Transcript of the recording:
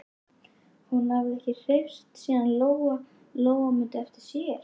Hún hafði ekki hreyfst síðan Lóa-Lóa mundi eftir sér.